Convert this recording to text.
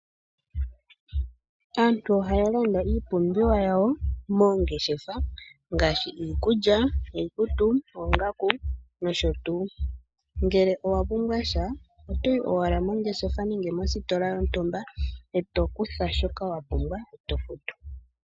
Aantu ohaya landa iipumbiwa yawo moongeshefa ngaashi iikulya, iikutu, oongaku nosho tuu. Ngele owa pumbwa sha otoyi owala mongeshefa nenge mositola lyontumba e to kutha shoka wa pumbwa e to futu.